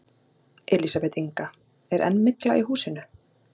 Elísabet Inga: Er enn mygla í húsinu?